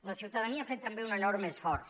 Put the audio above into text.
la ciutadania ha fet també un enorme esforç